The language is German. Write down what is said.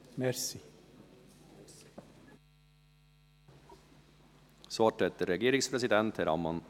Das Wort hat der Regierungspräsident, Herr Ammann.